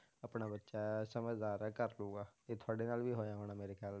ਆਪਣਾ ਬੱਚਾ ਹੈ ਸਮਝਦਾਰ ਹੈ ਕਰ ਲਊਗਾ, ਇਹ ਤੁਹਾਡੇ ਨਾਲ ਵੀ ਹੋਇਆ ਹੋਣਾ ਮੇਰੇ ਖਿਆਲ,